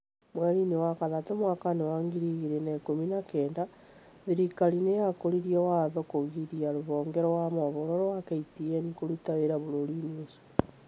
Mweri-inĩ wa gatatũ mwaka-inĩ wa ngiri igĩrĩ na ikĩmi na kenda thirikari nĩ yakũririe watho wa kũgiria rũhonge rwa mohoro rwa KTN kũruta wĩra bũrũri-inĩ ũcio,